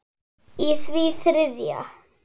í því þriðja.